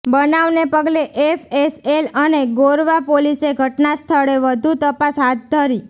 બનાવને પગલે એફએસએલ અને ગોરવા પોલીસે ઘટના સ્થળે વધુ તપાસ હાથ ધરી